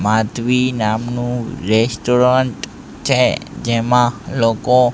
માધવી નામનું રેસ્ટોરન્ટ છે જેમાં લોકો.